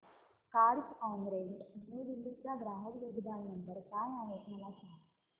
Carzonrent New Delhi चा ग्राहक देखभाल नंबर काय आहे मला सांग